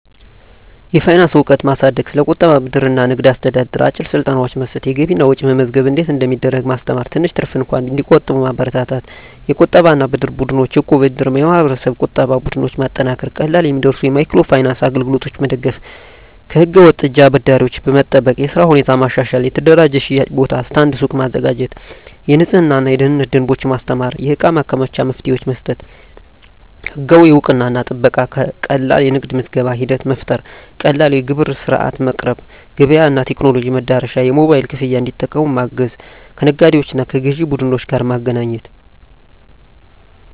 የፋይናንስ እውቀት ማሳደግ ስለ ቁጠባ፣ ብድር እና ንግድ አስተዳደር አጭር ስልጠናዎች መስጠት የገቢና ወጪ መመዝገብ እንዴት እንደሚደረግ ማስተማር ትንሽ ትርፍ እንኳን እንዲቆጠብ መበረታታት የቁጠባና የብድር ቡድኖች (እቃብ/እድር ) የማህበረሰብ ቁጠባ ቡድኖች ማጠናከር ቀላል የሚደርሱ የማይክሮ ፋይናንስ አገልግሎቶች መደገፍ ከህገ-ወጥ እጅ አበዳሪዎች መጠበቅ የሥራ ሁኔታ ማሻሻል የተደራጀ የሽያጭ ቦታ (ስታንድ/ሱቅ) ማዘጋጀት የንፅህናና የደህንነት ደንቦች ማስተማር የእቃ ማከማቻ መፍትሄዎች መስጠት ህጋዊ እውቅናና ጥበቃ ቀላል የንግድ ምዝገባ ሂደት መፍጠር ቀላል የግብር ሥርዓት ማቅረብ ገበያ እና ቴክኖሎጂ መድረሻ የሞባይል ክፍያ እንዲጠቀሙ ማገዝ ከነጋዴዎችና ከግዥ ቡድኖች ጋር ማገናኘት